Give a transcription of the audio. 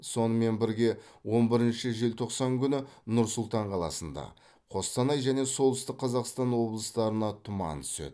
сонымен бірге он бірінші желтоқсан күні нұр сұлтан қаласында қостанай және солтүстік қазақстан облыстарына тұман түседі